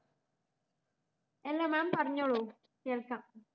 അല്ല mam പറഞ്ഞൊള്ളൂ കേൾക്കാം